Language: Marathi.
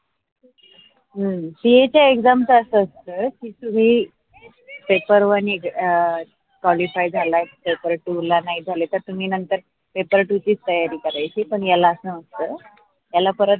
हम्म car च्या exam तस असत कि तुमी paper one qualify झाला तर paper two ला नाही झाल तर, तुम्ही नंतर paper two ची तयारी करायेची पण याला अस नसत याला परत.